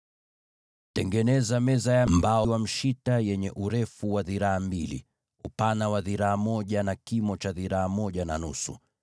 “Tengeneza meza ya mbao za mshita yenye urefu wa dhiraa mbili, upana wa dhiraa moja, na kimo cha dhiraa moja na nusu.